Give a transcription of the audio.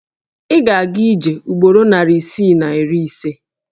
Ị ga-aga ije ugboro narị isii na iri ise.